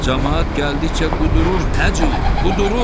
Camaat gəldikcə qudurur, Hacı, qudurur.